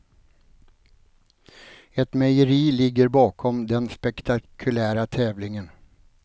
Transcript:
Ett mejeri ligger bakom den spektakulära tävlingen.